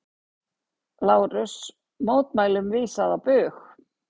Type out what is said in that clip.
LÁRUS: Mótmælum vísað á bug.